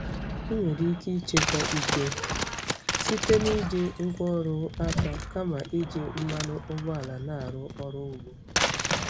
Ị nwere ike ịchekwa ike site na iji ngwá ọrụ aka kama iji mmanụ ụgbọala na-arụ ọrụ ugbo.